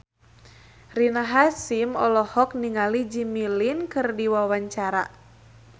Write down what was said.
Rina Hasyim olohok ningali Jimmy Lin keur diwawancara